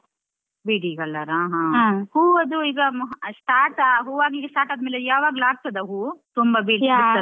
ಬಿಳಿ colour ಆ . ಹೂವದ್ದು ಈಗ start ಆ ಹೂವಾಗ್ಲಿಕ್ಕೆ start ಆದ್ಮೇಲೆ ಯಾವಾಗ್ಲು ಆಗ್ತದ ಹೂವು ತುಂಬ ?